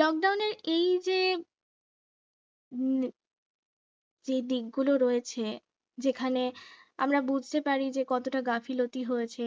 lockdown এই যে হম যে দিকগুলো রয়েছে যেখানে যেখানে আমরা বুঝতে পারি যে কতটা গাফিলতি হয়েছে